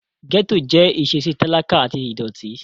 Gẹ́ẹ́tò jẹ́ ìṣesí talakà àti ìdọ̀ọ̀tí